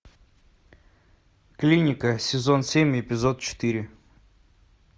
клиника сезон семь эпизод четыре